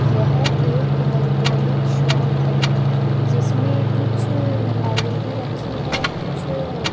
यह एक electronic shop है जिसमें कुछ एल_इ_डी रखी है कुछ --